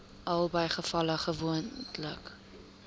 albei gevalle gewoonlik